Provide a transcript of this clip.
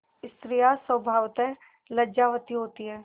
स्त्रियॉँ स्वभावतः लज्जावती होती हैं